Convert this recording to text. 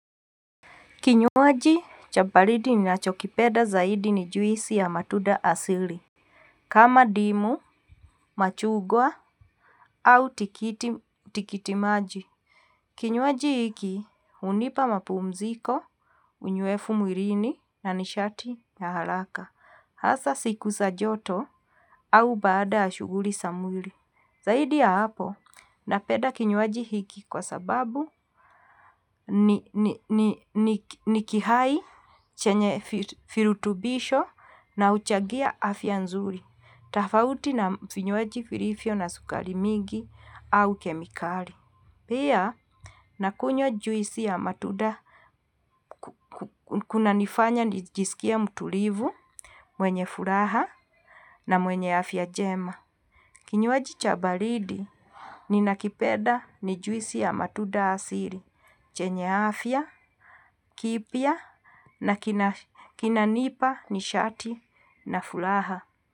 Kinyuaji cha baridi ni nachokipeda zaidi ni juisi ya matuda asili. Kama ndimu, machugwa, au tikiti maji. Kinywaji hiki hunipa mapumziko, unywefu mwilini na ni shati ya haraka. Hasa siku za joto au baada ya shughuli za mwili. Zaidi ya hapo, napenda kinywaji hiki kwa sababu ni kihai, chenye virutubisho na huchagia afya nzuri. Tofauti na vinywaji vilivyo na sukari mingi au kemikali. Pia, na kunywa juisi ya matunda kunanifanya nijisikie mtulivu, mwenye furaha na mwenye afya njema. Kinywaji cha baridi ni nakipenda ni juisi ya matuda asili, chenye afya, kipya na kinanipa ni shati na furaha.